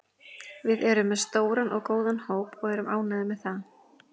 Við erum með stóran og góðan hóp og erum ánægðir með það.